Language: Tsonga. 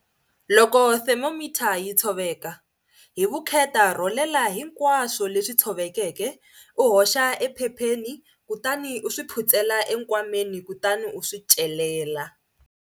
Loko thermometer yi tshoveka, hi vukheta rholela hinkwaswo leswi tshovekeke u hoxa ephepheni kutani u swi phutsela enkwameni kutani u swi celela.